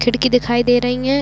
खिड़की दिखाई दे रही है।